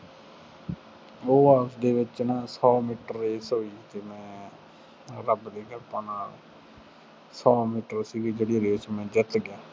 ਉਹ ਆਸ ਦੇ ਵਿੱਚ ਨਾ ਸੌ ਮੀਟਰ race ਹੋਈ ਸੀ। ਮੈਂ ਰੱਬ ਦੀ ਕਿਰਪਾ ਨਾਲ ਸੌ ਮੀਟਰ ਸੀਗੀ ਜਿਹੜੀ race ਮੈਂ ਜਿੱਤ ਗਿਆ।